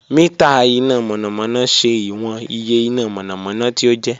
Mita ina mọnamọna ṣe iwọn iye ina mọnamọna ti o jẹ